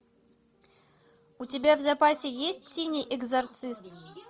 у тебя в запасе есть синий экзорцист